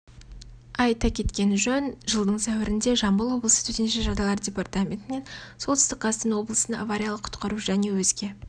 айта кеткен жөн жылдың сәуірінде жамбыл облысы төтенше жағдайлар департаментінен солтүстік қазақстан облысына авариялық-құтқару және өзге